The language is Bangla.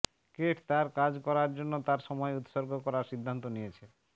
কেট তার কাজ করার জন্য তার সময় উৎসর্গ করার সিদ্ধান্ত নিয়েছে